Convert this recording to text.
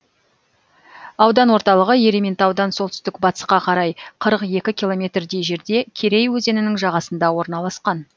аудан орталығы ерейментаудан солтүстік батысқа қарай қырық екі километрдей жерде керей өзенінің жағасында орналасқан